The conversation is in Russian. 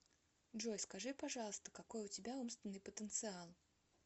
джой скажи пожалуйста какой у тебя умственный потенциал